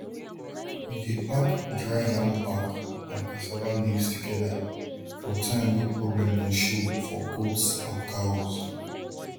we dey pack dry yam back and cassava leaves together for time way problem go show for goats and cows